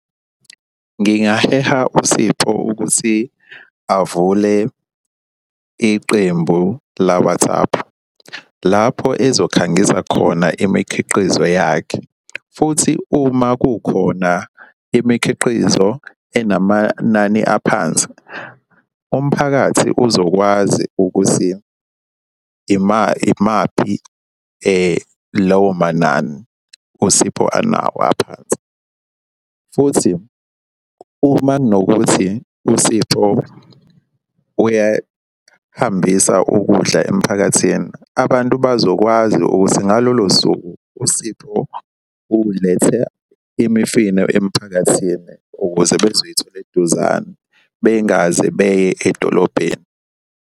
Ngingaheha uSipho ukuthi avule iqembu la-WhatsApp. Lapho ezokhangisa khona imikhiqizo yakhe, futhi uma kukhona imikhiqizo enamanani aphansi, umphakathi uzokwazi ukuthi imaphi lawo manani uSipho anawo aphansi, futhi uma kunokuthi uSipho uyahambisa ukudla emphakathini. Abantu bazokwazi ukuthi ngalolo suku uSipho ulethe imifino emiphakathini ukuze bezoyithola eduzane bengaze beye edolobheni.